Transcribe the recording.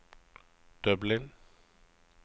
Dublin